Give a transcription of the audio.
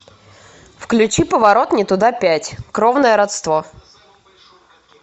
включи поворот не туда пять кровное родство